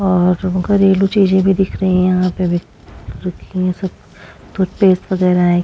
और घरेलु चीज़े भी दिख रही है यहाँ पे भी रखी है सब टूथपेस्ट वगैरा है।